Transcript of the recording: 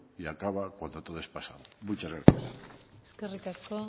y acaba cuando todo es pasado muchas gracias eskerrik asko